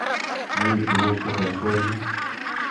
Mi tuguk che ter ter yu.